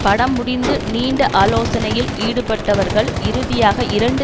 படம் முடிந்து நீண்ட ஆலோசனையில் ஈடுபட்டவர்கள் இறுதியாக இரண்டு